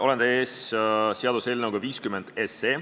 Olen teie ees seaduseelnõuga 50.